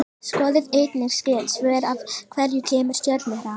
Skoðið einnig skyld svör: Af hverju kemur stjörnuhrap?